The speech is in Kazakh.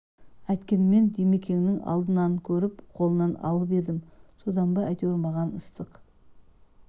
әйткенмен димекеңнің алдын көріп қолынан алып едім содан ба әйтеуір маған ыстық